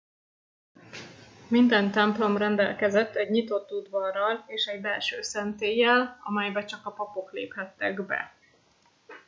minden templom rendelkezett egy nyitott udvarral és egy belső szentéllyel amelybe csak a papok léphettek be